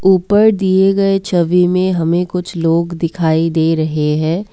ऊपर दिए गए छवि में हमें कुछ लोग दिखाई दे रहे है।